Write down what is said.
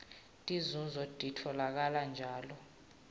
tinzunzo titfolakala njalo